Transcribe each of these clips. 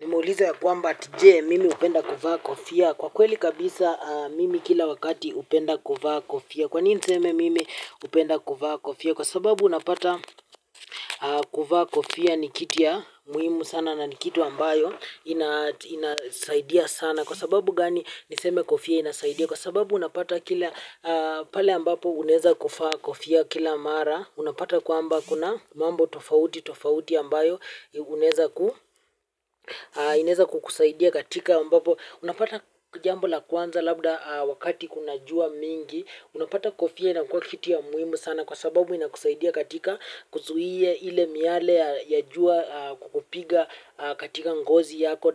Nimeuliza ya kwamba ati he mimi hupenda kuvaa kofia. Kwa kweli kabisa mimi kila wakati upenda kuvaa kofia. Kwa nini niseme mimi hupenda kuvaa kofia. Kwa sababu unapata kuvaa kofia ni kitu ya muhimu sana na ni kitu ambayo inasaidia sana. Kwa sababu gani niseme kofia inasaidia. Kwa sababu unapata kila pale ambapo unaweza kuvaa kofia kila mara. Unapata kwamba kuna mambo tofauti tofauti ambayo inaweza kukusaidia katika ambapo unapata jambo la kwanza labda wakati kuna jua mingi unapata kofia ina kua kitu ya muhimu sana kwa sababu ina kusaidia katika kuzuia ile miale ya jua kukupiga katika ngozi yako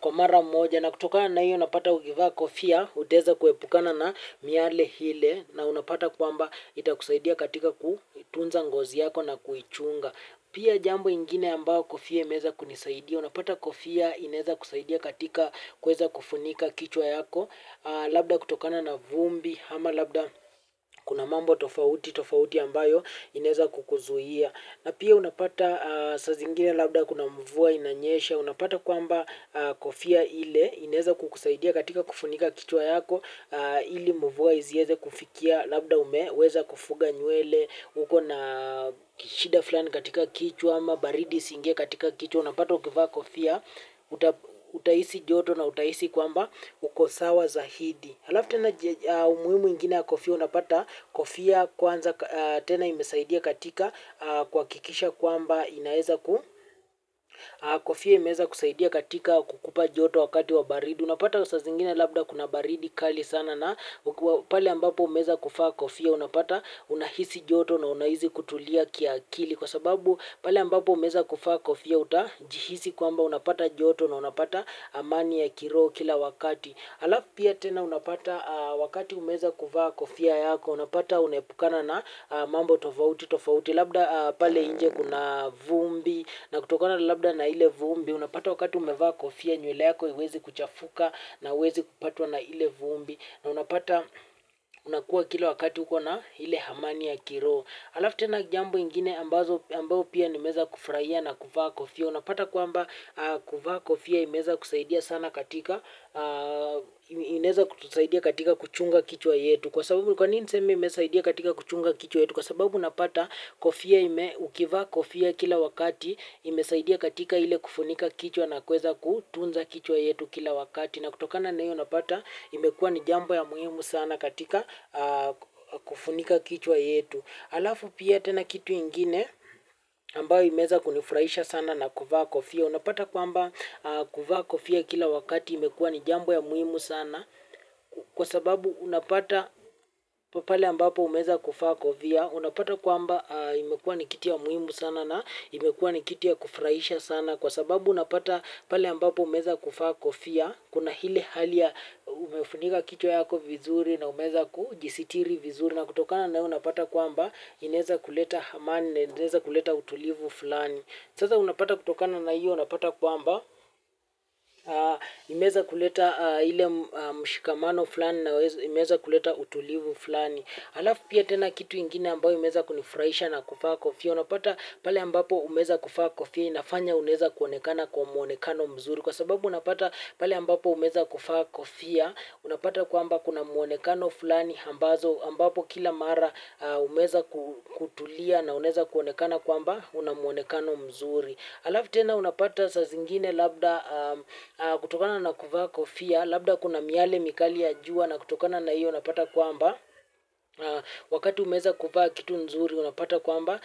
kwa mara moja na kutokana na hiyo unapata ukivaa kufia utaweza kuepukana na miale ile na unapata kwamba itakusaidia katika kutunza ngozi yako na kuichunga. Pia jambo ingine ambayo kofia imeweza kunisaidia. Unapata kofia inaweza kusaidia katika kuweza kufunika kichwa yako labda kutokana na vumbi, ama labda kuna mambo tofauti, tofauti ambayo inaweza kukuzuia. Na pia unapata saa zingine labda kuna mvua inanyesha. Unapata kwamba kofia ile inaweza kukusaidia katika kufunika kichwa yako ili mvua isieze kufikia labda umeweza kufunga nywele uko na shida fulani katika kichwa ama baridi isiingie katika kichwa unapata ukivaa kofia uta hisi joto na utahhmisi kwamba uko sawa zaidi alafu tena umuhimu ingine ya kofia unapata kofia kwanza tena imesaidia katika kuhakikisha kwamba inaweza kofia imeweza kusaidia katika kukupa joto wakati wa baridi unapata saa zingine labda kuna baridi kali sana na pale ambapo umeweza kuvaa kofia unapata unahisi joto na unahisi kutulia kiakili kwa sababu pale ambapo umeweza kuvaa kofia utajihisi kwamba unapata joto na unapata amani ya kiroho kila wakati. Alafu pia tena unapata wakati umeweza kuvaa kofia yako unapata unaepukana na mambo tofauti tofauti labda pale inje kuna vumbi na kutokona labda na ile vumbi unapata wakati umevaa kofia nywle yako haiwezi kuchafuka na huwezi kupatwa na ile vumbi na unapata unakua kila wakati ukona ile amani ya kiroho alafu tena jambo ingine ambazo ambao pia nimeweza kufurahia na kuvaa kofia unapata kwamba kuvaa kofia imeweza kusaidia sana katika inaeza kutusaidia katika kuchunga kichwa yetu kwa sababu kwa nini niseme imesaidia katika kuchunga kichwa yetu kwa sababu unapata kofia ukivaa kofia kila wakati, imesaidia katika ile kufunika kichwa na kuweza kutunza kichwa yetu kila wakati na kutokana na hiyo unapata imekuwa ni jambo ya muhimu sana katika kufunika kichwa yetu alafu pia tena kitu ingine ambayo imeweza kunifurahisha sana na kuvaa kofia unapata kwamba kuvaa kofia kila wakati imekuwa ni jambo ya muhimu sana kwa sababu unapata pale ambapo umeweza kuvaa kofia unapata kwamba imekua ni kitu ya muhimu sana na imekua ni kitu ya kufurahisha sana kwa sababu unapata pale ambapo umeweza kuvaa kofia kuna ile hali ya umefunika kichwa yako vizuri na umeweza kujisitiri vizuri na kutokana na hiyo unapata kwamba inaweza kuleta amani, inaweza kuleta utulivu fulani sasa unapata kutokana na hiyo unapata kwamba imeweza kuleta ile mshikamano fulani na imeweza kuleta utulivu fulani alafu pia tena kitu ingine ambayo imeweza kunifurahisha na kuvaa kofia unapata pale ambapo umeweza kuvaa kofia inafanya unaweza kuonekana kwa mwonekano mzuri kwa sababu unapata pale ambapo umeweza kuvaa kofia unapata kwamba kuna muonekano fulani ambazo ambapo kila mara umeweza kutulia na unaweza kuonekana kwamba una mwonekano mzuri. Alafu tena unapata saa zingine labda kutokana na kuvaa kofia, labda kuna miale mikali ya jua na kutokana na hiyo unapata kwamba. Wakati umeweza kuvaa kitu nzuri unapata kwamba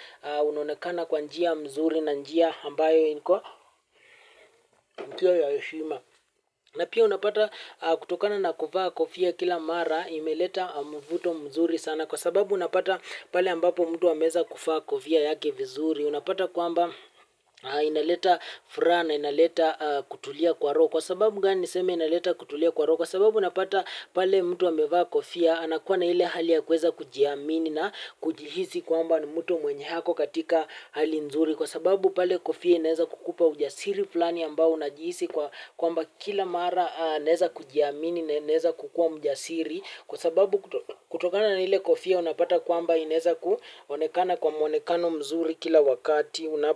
unonekana kwa njia mzuri na njia ambayo iko njia ya heshima. Na pia unapata kutokana na kuvaa kofia kila mara imeleta mvuto mzuri sana kwa sababu unapata pale ambapo mtu ameweza kuvaa kofia yake vizuri. Unapata kwamba inaleta furaha na inaleta kutulia kwa roho kwa sababu gani niseme inaleta kutulia kwa roko kwa sababu unapata pale mtu amevaa kofia anakuwa na ile hali ya kuweza kujiamini na kujihisi kwamba ni mtu mwenye ako katika hali nzuri kwa sababu pale kofia inaweza kukupa ujasiri fulani ambao unajihisi kwamba kila mara naweza kujiamini na inaeza kukua mjasiri kwa sababu kutokana na ile kofia unapata kwamba inaweza kuonekana kwa mwonekano mzuri kila wakati unapo.